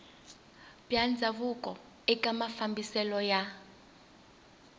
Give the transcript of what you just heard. bya ndhavuko eka mafambiselo ya